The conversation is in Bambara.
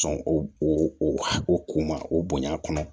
Sɔn o ko ma o bonya kɔnɔ